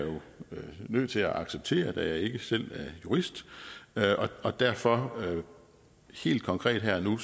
nødt til at acceptere da jeg ikke selv er jurist og derfor helt konkret her og nu